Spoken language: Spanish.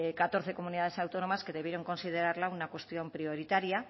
catorce comunidades autónomas que debieron considerarla una cuestión prioritaria